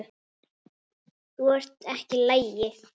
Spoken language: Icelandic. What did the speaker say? Þú ert ekki í lagi.